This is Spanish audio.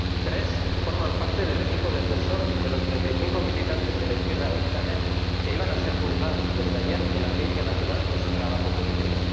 tres forman parte del equipo defensor de los treinta y cinco militantes de la izquierda que iban a ser juzgados desde ayer en la Audiencia Nacional por su trabajo político.